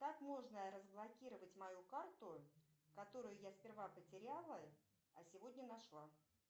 как можно разблокировать мою карту которую я сперва потеряла а сегодня нашла